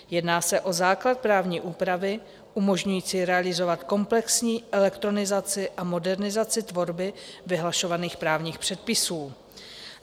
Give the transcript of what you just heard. Jedná se o základ právní úpravy umožňující realizovat komplexní elektronizaci a modernizaci tvorby vyhlašovaných právních předpisů.